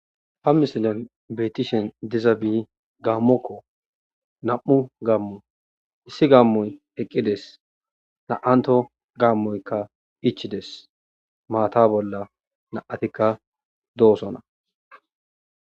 Ha misilan betishe dizabi gammokko na'mu gammo issi gam'oyi eqides na'amtto gammoyika ichides mata bolla na'tikka dosona.